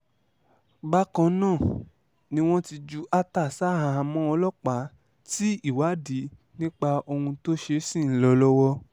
bákan náà ni wọ́n ti ju attah ṣaháàmọ́ ọlọ́pàá tí ìwádìí nípa ohun tó ṣe ṣì ń lọ lọ́wọ́